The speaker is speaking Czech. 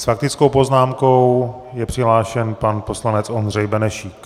S faktickou poznámkou je přihlášen pan poslanec Ondřej Benešík.